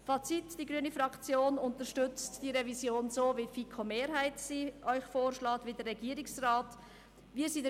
Fazit: Die grüne Fraktion unterstützt die Revision so, wie die FiKo-Mehrheit und der Regierungsrat sie Ihnen vorschlägt.